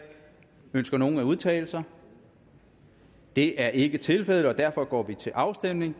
ønsker nogen at udtale sig det er ikke tilfældet og derfor går vi til afstemning